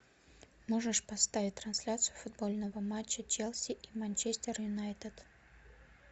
можешь поставить трансляцию футбольного матча челси и манчестер юнайтед